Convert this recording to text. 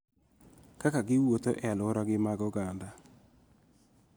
Kaka giwuotho ??e alwora gi mag oganda.